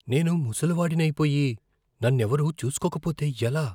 నేను ముసలి వాడిని అయిపోయి నన్నెవరూ చూసుకోక పోతే ఎలా?